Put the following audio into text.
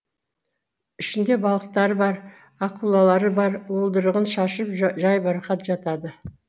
ішінде балықтары бар акулалары бар уылдырығын шашып жайбарақат жатады